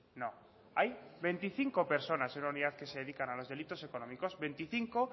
no hay veinticinco personas en la unidad que se dedican a los delitos económicos veinticinco